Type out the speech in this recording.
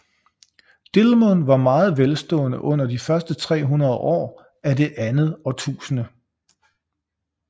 Dilmun var meget velstående under de første 300 år af det andet årtusinde